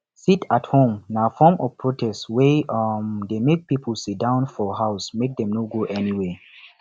sit at home na form of protest wey um de make pipo sitdown for houses make dem no go anywhere